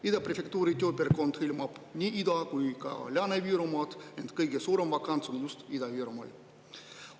Ida Prefektuuri tööpiirkond hõlmab nii Ida- kui ka Lääne-Virumaad, ent kõige suurem vakants on just Ida-Virumaal.